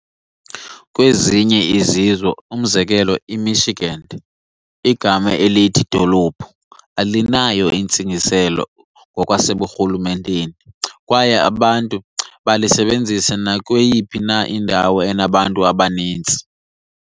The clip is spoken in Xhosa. Kwezinye izizwe, umzekelo eMichigan, igama elithi "dolophu" alinayo intsingiselo ngokwaseburhulumenteni kwaye abantu balisebenzisa nakweyophi na indawo enabantu abaninzi.